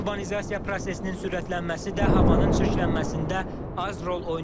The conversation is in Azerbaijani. Urbanizasiya prosesinin sürətlənməsi də havanın çirklənməsində az rol oynamır.